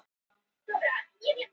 Auðvitað hefur hann neitað.